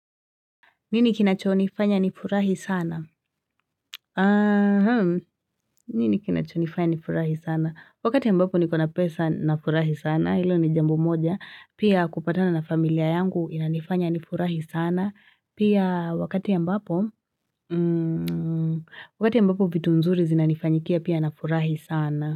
Nini kinachonifanya nifurahi sana? Aha. Nini kinachonifanya nifurahi sana? Wakati ambapo niko na pesa nafurahi sana, hilo ni jambo moja. Pia kupatana na familia yangu inanifanya nifurahi sana. Pia wakati ambapo, wakati ambapo vitu nzuri zinanifanyikia pia nafurahi sana.